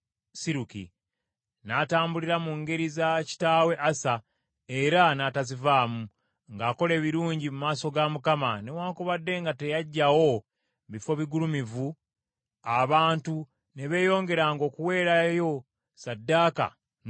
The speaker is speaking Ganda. N’atambulira mu ngeri za kitaawe Asa era n’atazivaamu, ng’akola ebirungi mu maaso ga Mukama , newaakubadde nga teyaggyawo bifo bigulumivu, abantu ne beeyongeranga okuweerayo ssaddaaka n’okwokya obubaane.